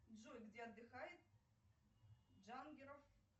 джой где отдыхает джангеров